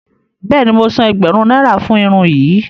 Bẹẹni, mo sán ègbérún náírà fún irun yìí.